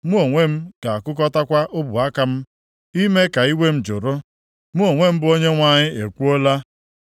Mụ onwe m ga-akụkọtakwa ọbụ aka m, ime ka iwe m jụrụ. Mụ onwe m bụ Onyenwe anyị ekwuola.”